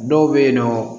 Dɔw bɛ yen nɔ